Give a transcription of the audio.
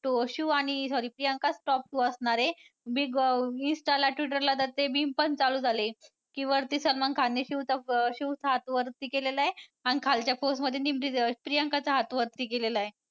तो शिव आणि sorry प्रियांकाच top two असणार आहे. big insta ला Twitter ला ते memes पण चालू झालेत. ते वरती सलमान खानने शिवचा हात वरती केलेला आहे आणि खालच्या pose मध्ये प्रियांकाचा हात वरती केलेला आहे.